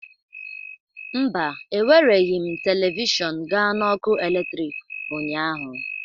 Mba, ewereghị m telivishọn gaa na ọkụ eletrik ụnyaahụ